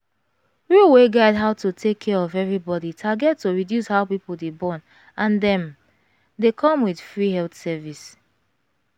rule wey guide how to take care of everybody target to reduce how people dey born and dem dey come with free health service.